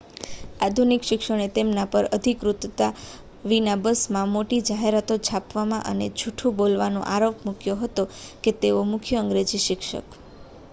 આધુનિક શિક્ષણે તેમના પર અધિકૃતતા વિના બસમાં મોટી જાહેરાતો છાપવાનો અને જૂઠું બોલવાનો આરોપ મૂક્યો હતો કે તેઓ મુખ્ય અંગ્રેજી શિક્ષક